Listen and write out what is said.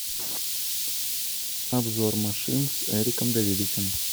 обзор машин с эриком давидычем